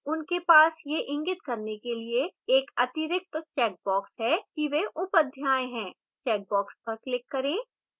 उनके पास यह इंगित करने के लिए एक अतिरिक्त checkbox है कि वे उप अध्याय हैं checkbox पर क्लिक करें